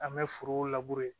An bɛ foro labure